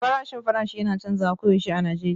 Farashin farashi yana canzawa koyaushe a Najeriya